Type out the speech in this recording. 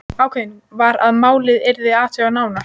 Ákveðið var að málið yrði athugað nánar.